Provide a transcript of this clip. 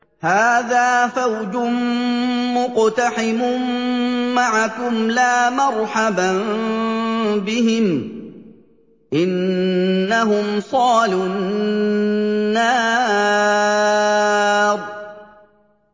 هَٰذَا فَوْجٌ مُّقْتَحِمٌ مَّعَكُمْ ۖ لَا مَرْحَبًا بِهِمْ ۚ إِنَّهُمْ صَالُو النَّارِ